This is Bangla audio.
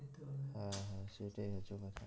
হ্যাঁ হ্যাঁ সেটাই হচ্ছে কথা